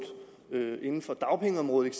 inden for dagpengeområdet